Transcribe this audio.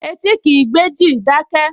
Etí kìí gbéjì, dákẹ́!